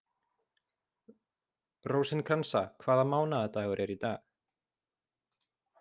Rósinkransa, hvaða mánaðardagur er í dag?